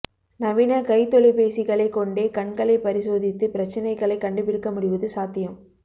நவீன கைத்தொலைபேசிகளைக் கொண்டே கண்களைப் பரிசோதித்து பிரச்சினைகளை கண்டுபிடிக்க முடிவது சாத்தியம்